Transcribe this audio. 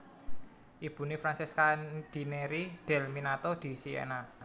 Ibuné Francesca di Neri del Miniato di Siena